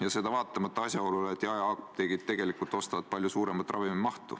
Ja seda vaatamata asjaolule, et jaeapteegid tegelikult ostavad palju suuremaid koguseid.